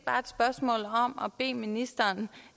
bede ministeren